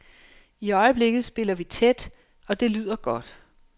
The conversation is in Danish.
I øjeblikket spiller vi tæt, og det lyder godt.